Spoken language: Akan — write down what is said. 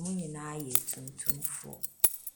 Wɔn nyinaa yɛ atuntumfoɔ.